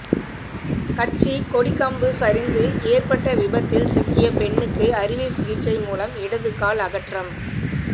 கட்சிக் கொடிக்கம்பு சரிந்து ஏற்பட்ட விபத்தில் சிக்கிய பெண்ணுக்கு அறுவை சிகிச்சை மூலம் இடது கால் அகற்றம்